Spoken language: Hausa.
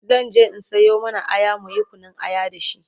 zanje in Sayo mana Aya muyi Kunun aya da shi